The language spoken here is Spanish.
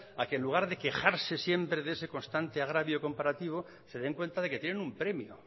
a que en lugar de quejarse siempre de ese constante agravio comparativo se den cuenta de que tienen un premio